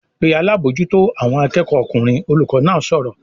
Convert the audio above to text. "Pe alábòójútó àwọn akẹ́kọ̀ọ́ ọkùnrin!" Olùkọ́ náà sọ̀rọ̀